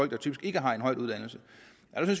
der typisk ikke har en høj uddannelse